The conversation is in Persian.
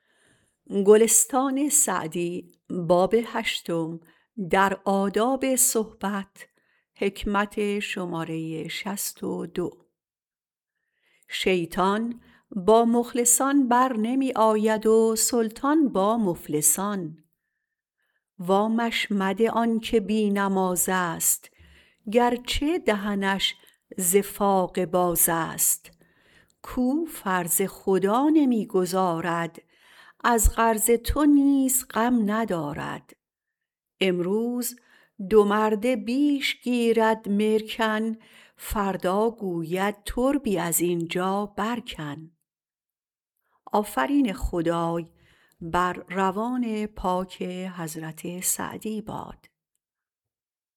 شیطان با مخلصان برنمی آید و سلطان با مفلسان وامش مده آن که بی نماز است گرچه دهنش ز فاقه باز است کاو فرض خدا نمی گزارد از قرض تو نیز غم ندارد امروز دو مرده بیش گیرد مرکن فردا گوید تربی از اینجا بر کن